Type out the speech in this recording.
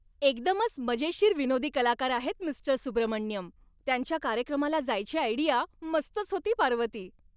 एकदमच मजेशीर विनोदी कलाकार आहेत मिस्टर सुब्रमण्यम. त्यांच्या कार्यक्रमाला जायची आयडिया मस्तच होती, पार्वती.